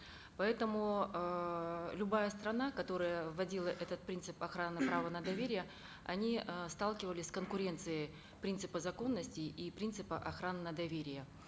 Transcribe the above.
поэтому эээ любая страна которая вводила этот принцип охраны права на доверие они э сталкивались с конкуренцией принципа законности и принципа охраны на доверие